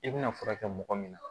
I bɛna furakɛ mɔgɔ min na